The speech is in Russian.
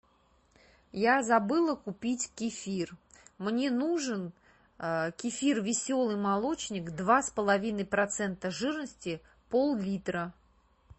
я забыла купить кефир мне нужен кефир веселый молочник два с половиной процента жирности поллитра